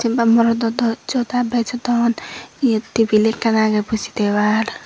jin pai morot o joda bejodon iyot table ekkan agey buji thebar.